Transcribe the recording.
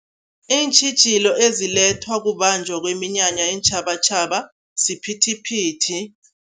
Iintjhijilo ezilethwa kubanjwa kweminyanya yeentjhabatjhaba, siphithiphithi.